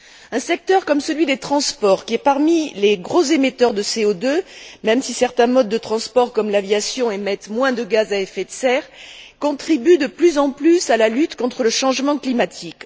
Un secteur comme celui des transports, qui est parmi les gros émetteurs de CO 2 même si certains modes de transport, comme l'aviation, émettent moins de gaz à effet de serre, contribue de plus en plus à la lutte contre le changement climatique.